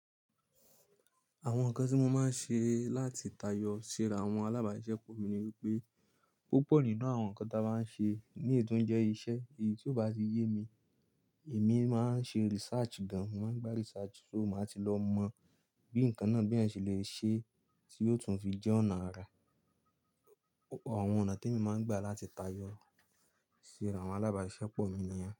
Àwọn nǹkan tí mo máa ń ṣe láti tayọ síra àwọn alábàáṣepọ̀ mi ni wípé, púpọ̀ nínú àwọn nǹkan tí a bá ń ṣe ní ètò ń jẹ́ iṣẹ́. Èyí tí ó bá ti yé mi, èmi máa ń ṣe research gan. Mo máa ń gba research, so mo máa ti lọ mọ bí nǹkan náà bí ẹ ṣe lè ṣe tí ó tún fi jẹ́ ọ̀nà rẹ̀. Àwọn ọ̀nà tí mo máa ń gbà láti tayọ síra àwọn alábàáṣepọ̀ mi ni ẹ́